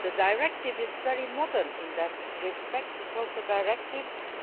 The directive is very modern in that respect because it